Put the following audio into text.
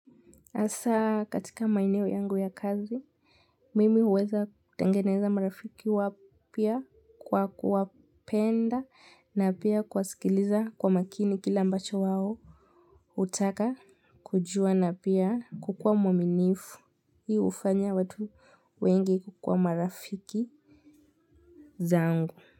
Hasa katika maeneo yangu ya kazi, mimi huweza kutengeneza marafiki wapya kwa kuwapenda na pia kuwa sikiliza kwa makini kile mbacho wao hutaka kujua na pia kukua mwaminifu. Hii hufanya watu wengi kuwa marafiki zangu.